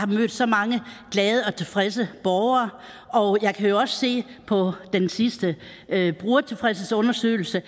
mødt så mange glade og tilfredse borgere og jeg kan jo også se på den sidste brugertilfredshedsundersøgelse